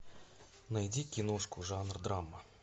найди киношку жанр драма